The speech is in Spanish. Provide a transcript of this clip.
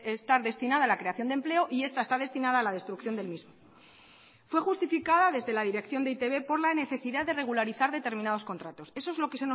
estar destinada a la creación de empleo y esta está destinada a la destrucción del mismo fue justificada desde la dirección de e i te be por la necesidad de regularizar determinados contratos eso es lo que